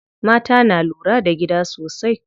Mata na lura da gida sosai.